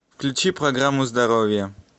включи программу здоровье